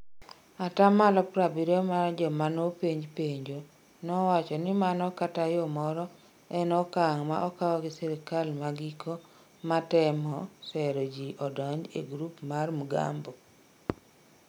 Ataaa malo 70 mar jomano penj penjo nowacho ni mano kata yoo moro en okang' ma okawgi sirkal ma giko matemo sero jii odonj ie grup mar jo Mgambo